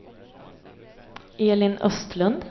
Elin Östlund